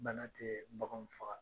Bana te baganw faga.